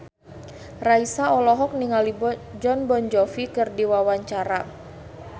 Raisa olohok ningali Jon Bon Jovi keur diwawancara